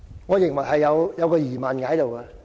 我認為是存在疑問的。